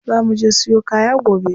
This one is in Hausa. Za muje siyo kaya gobe.